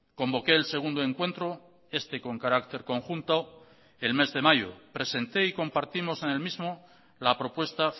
convoqué el segundo encuentro este con carácter conjunto el mes de mayo presenté y compartimos en el mismo la propuesta